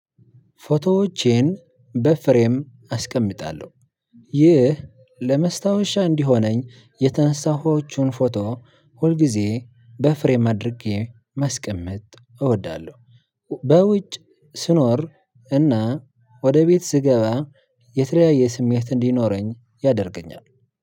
ፎቶዎቼን በፍሬም አስቀምጣለሁ ይህ ለመስታወሻ እንዲሆነኝ የተንሳዎቹን ፎቶ ሁልጊዜ በፍሬም አድርጌ ማስቀምጥ እወዳለሁ። በውጭ ስኖር እና ወደ ቤት ስገባ የተለያየ ስሜት እንዲኖረኝ ያደርገኛል።